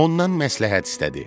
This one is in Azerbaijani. Ondan məsləhət istədi.